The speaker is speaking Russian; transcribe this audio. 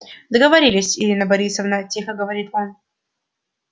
договорились ирина борисовна тихо говорит он